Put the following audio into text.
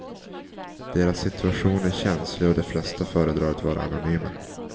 Deras situation är känslig och de flesta föredrar att vara anonyma.